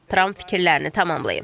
Tramp fikirlərini tamamlayıb.